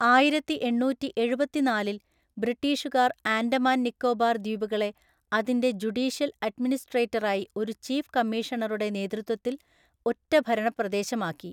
ആയിരത്തിഎണ്ണൂറ്റി എഴുപത്തിനാലില്‍ ബ്രിട്ടീഷുകാർ ആൻഡമാൻ നിക്കോബാർ ദ്വീപുകളെ അതിന്റെ ജുഡീഷ്യൽ അഡ്മിനിസ്‌ട്രേറ്ററായി ഒരു ചീഫ് കമ്മീഷണറുടെ നേതൃത്വത്തിൽ ഒറ്റ ഭരണപ്രദേശമാക്കി.